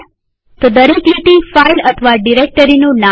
તો દરેક લીટી ફાઈલ અથવા ડિરેક્ટરીનું નામ છે